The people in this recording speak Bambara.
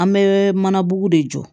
An bɛ mana bugu de jɔ